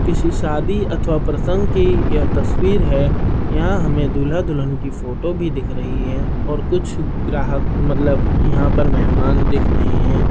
किसी शादी अथवा प्रसंग की यह तस्वीर है | यहाँ हमें दूल्हा दुल्हन की फोटो भी दिख रही है और कुछ ग्राहक मतलब यहाँ पर मेहमान दिख रहे हैं।